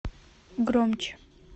громче